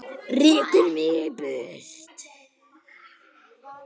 Rekur mig í burtu?